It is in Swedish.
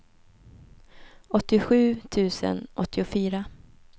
åttiosju tusen åttiofyra